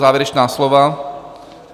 Závěrečná slova?